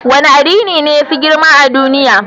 Wane addini ne ya fi girma a duniya?